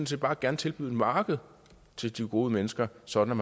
set bare gerne tilbyde et marked til de gode mennesker sådan at